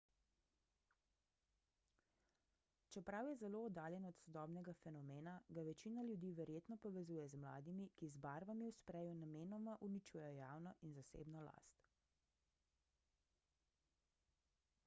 čeprav je zelo oddaljen od sodobnega fenomena ga večina ljudi verjetno povezuje z mladimi ki z barvami v spreju namenoma uničujejo javno in zasebno last